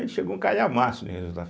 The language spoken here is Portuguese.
chegou um calhamaço de resultado.